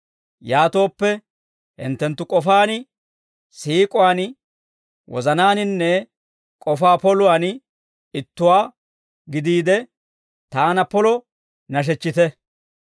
Yaatooppe, hinttenttu k'ofaan, siik'uwaan, wozanaaninne k'ofaa poluwaan ittuwaa gidiide, taana polo nashechchite.